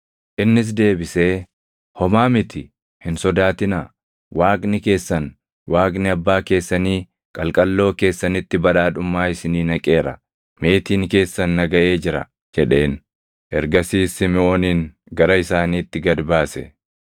Innis deebisee, “Homaa miti; hin sodaatinaa. Waaqni keessan, Waaqni abbaa keessanii qalqalloo keessanitti badhaadhummaa isinii naqeera; meetiin keessan na gaʼee jira” jedheen. Ergasiis Simiʼoonin gara isaaniitti gad baase.